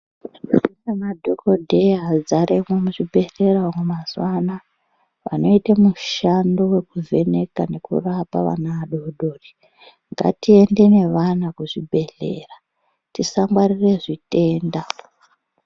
Kune madhokodheya adzaremwo muzvibhedhera umo mazuwa anaa vanoite mushando wekuvheneka nekurapa vana vadoodori. Ngatiende nevana kuzvibhedhlera. Tisangwarira zvitenda.